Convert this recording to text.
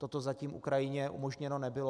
Toto zatím Ukrajině umožněno nebylo.